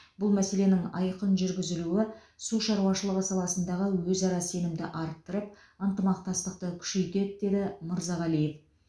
бұл мәселенің айқын жүргізілуі су шаруашылығы саласындағы өзара сенімді арттырып ынтымақтастықты күшейтеді деді мырзағалиев